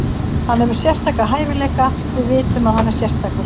Hann hefur sérstaka hæfileika, við vitum að hann er sérstakur.